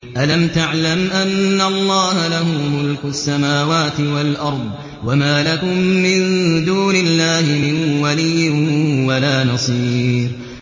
أَلَمْ تَعْلَمْ أَنَّ اللَّهَ لَهُ مُلْكُ السَّمَاوَاتِ وَالْأَرْضِ ۗ وَمَا لَكُم مِّن دُونِ اللَّهِ مِن وَلِيٍّ وَلَا نَصِيرٍ